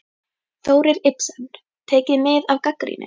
Þórir Ibsen: Tekið mið af gagnrýni?